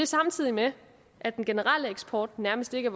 samtidig med at den generelle eksport nærmest ikke